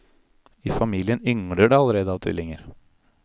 I familien yngler det allerede av tvillinger.